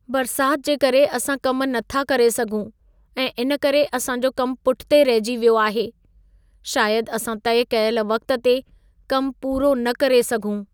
बरिसात जे करे असां कम नथा करे सघूं ऐं इन करे असां जो कम पुठिते रहिजी वियो आहे। शायद असां तइ कयल वक़्त ते कम पूरो न करे सघूं।